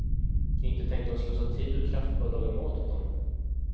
Inte tänkte hon slösa tid och kraft på att laga mat åt honom.